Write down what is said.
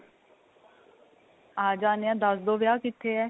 ਆਂ ਜਾਨੇ ਆਂ ਦੱਸ ਦੋ ਵਿਆਹ ਕਿੱਥੇ ਏ